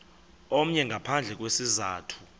omnye ngaphandle kwesizathu